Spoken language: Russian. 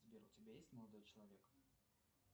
сбер у тебя есть молодой человек